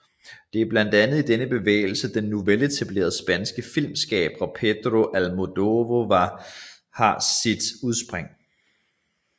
Det er blandt andet i denne bevægelse den nu veletablerede spanske filmskaber Pedro Almodóvar har sit udspring